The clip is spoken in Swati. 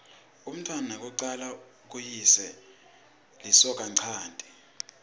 umntfwana wekucala kuyise lisokanchanti